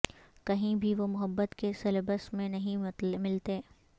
کہیں بھی وہ محبت کے سلیبس میں نہیں ملتیں